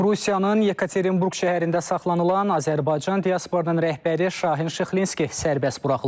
Rusiyanın Yekaterinburq şəhərində saxlanılan Azərbaycan diasporunun rəhbəri Şahin Şıxlinski sərbəst buraxılıb.